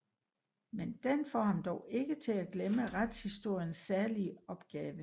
Men den får ham dog ikke til at glemme retshistoriens særlige opgave